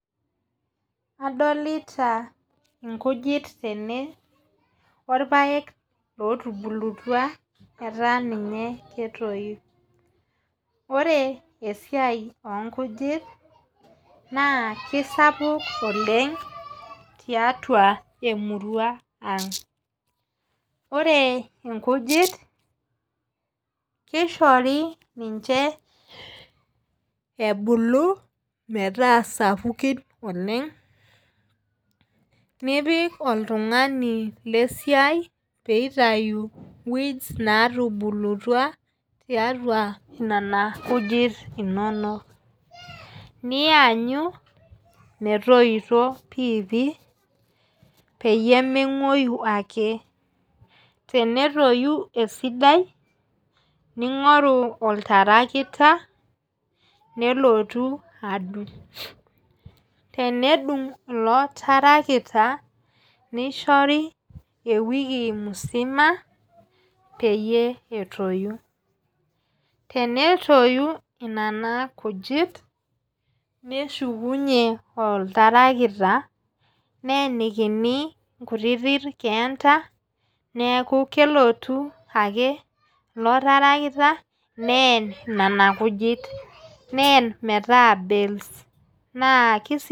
Adolita nkujit tene irpaek ootubulutua etaa ninye ketoyu. ore esiai oonkujit naa kisapuk oleng tiatua emirua ang. ore nkujit kishori ninche, ebulu metaa sapukin oleng. nipik oltungani le siai pee itayu weeds naatubulutua tiatua Nena kujit inonok. nianyu metoito piipii, peyie menguoyu ake. tenetoyu esidai, ningoru oltarakita nelotu adung'.tenedung ilo tarakita nishori ewiku musima peyie etoyu. tenetoyu Nena kujit ,neshukunye oltarakita neenikini inkutiti keenta. neeku kelotu ake ilo tarakita neen Nena kujit neen metaa bells.